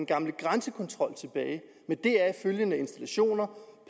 gamle grænsekontrol tilbage med deraf følgende installationer